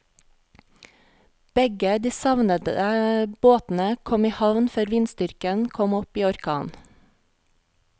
Begge de savnede båtene kom i havn før vindstyrken kom opp i orkan.